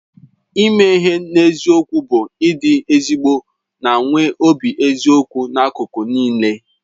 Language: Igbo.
Ime ihe n'eziokwu bụ ịdị ezigbo na nwee obi eziokwu n'akụkụ niile.